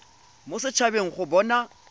mo set habeng go bona